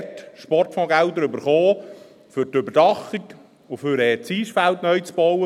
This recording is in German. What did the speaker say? Wir haben dort Sportfondsgelder erhalten für die Überdachung und um das Eisfeld neu zu bauen.